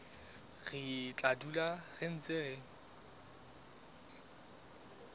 re tla dula re ntse